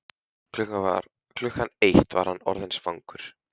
Klukkan eitt var hann orðinn svangur.